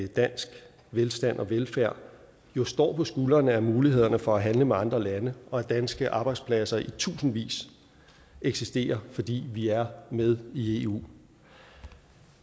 danske velstand og velfærd jo står på skuldrene af mulighederne for at handle med andre lande og at danske arbejdspladser i tusindvis eksisterer fordi vi er med i eu